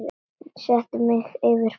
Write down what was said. Settu mig yfir búið þar.